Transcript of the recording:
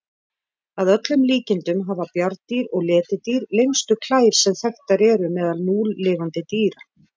Að öllum líkindum hafa bjarndýr og letidýr lengstu klær sem þekktar eru meðal núlifandi dýra.